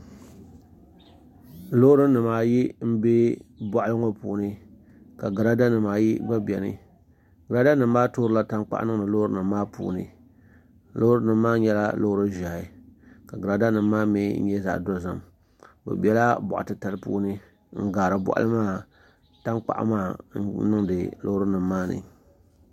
Loori nimaayi n bɛ boɣali ŋo puuni ka girada nimaayi gba biɛni girada nim maa toorila tankpaɣu niŋdi loori nim maa puuni loori nim maa nyɛla loori ʒiɛhi ka girada nim maa mii nyɛ zaɣ dozim bi biɛla boɣa titali puuni n gaari boɣali maa tankpaɣu maa n niŋdi loori nim maa ni